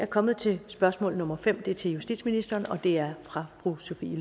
kommet til spørgsmål nummer fem og det er til justitsministeren og det er fra fru sophie